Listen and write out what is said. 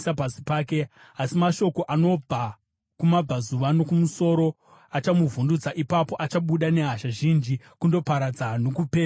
Asi mashoko anobva kumabvazuva nokumusoro achamuvhundutsa, ipapo achabuda nehasha zhinji kundoparadza nokupedza vazhinji.